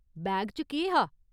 Bag च केह्‌‌ हा ?